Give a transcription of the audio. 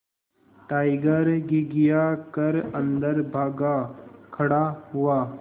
tiger घिघिया कर अन्दर भाग खड़ा हुआ